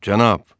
Cənab!